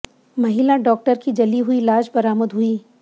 महिला डॉक्टर की जली हुई लाश बरामद हुई